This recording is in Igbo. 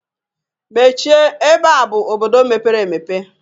Mechie ebe a bụ obodo mepere emepe